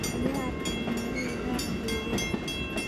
Bal yaa arkay dameerihii daaqa joogay